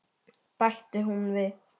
bætti hún við.